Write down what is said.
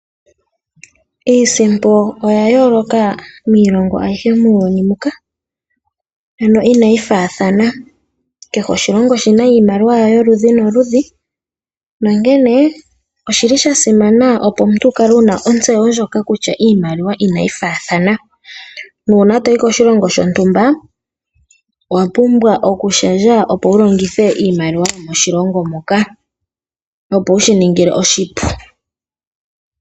Iisimpo oya yooloka miilongo aihe muuyuni mbuka ano inayi faathana . Kehe oshilongo oshina iimaliwa yawo yoludhi noludhi nonkene oshili shasimana opo omuntu wukale wuna ontseyo ndjono kutya iimaliwa inayi faathana. Nuuna toyi koshilongo shontumba owapumbwa okushendja opo wulongithe iimaliwa yomoshilongo shoka, opo wushi ninge oshipu.